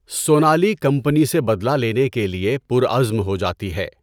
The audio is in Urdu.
سونالی کمپنی سے بدلہ لینے کے لیے پرعزم ہو جاتی ہے۔